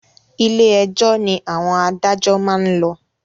Ilé ẹjọ́ ni àwọn adájọ́ maá n lọ